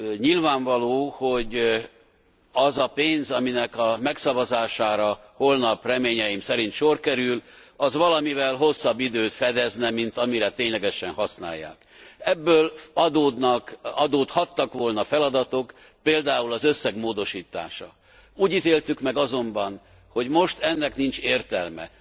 Nyilvánvaló, hogy az a pénz, aminek a megszavazására holnap reményeim szerint sor kerül, az valamivel hosszabb időt fedezne, mint amire ténylegesen használják. Ebből adódnak, adódhattak volna feladatok, például az összeg módosítása. Úgy ítéltük meg azonban, hogy most ennek nincs értelme.